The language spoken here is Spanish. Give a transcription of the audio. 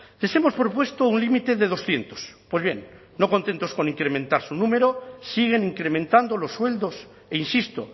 les hemos propuesto un límite de doscientos pues bien no contentos con incrementar su número siguen incrementando los sueldos e insisto